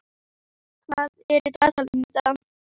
Móði, hvað er á dagatalinu mínu í dag?